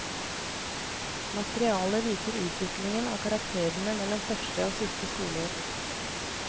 Materialet viser utviklingen av karakterene mellom første og siste skoleår.